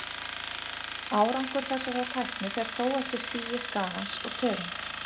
Árangur þessarar tækni fer þó eftir stigi skaðans og tegund.